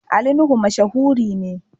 Ali Nuhu mashahuri ne.